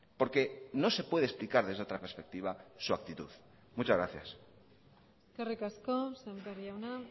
porque no se puede explicar desde otra perspectiva su actitud muchas gracias eskerrik asko sémper jauna